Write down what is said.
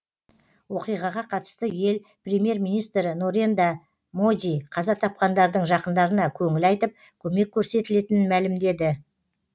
оқиғаға қатысты ел премьер министрі норенда моди қаза тапқандардың жақындарына көңіл айтып көмек көрсетілетінін мәлімдеді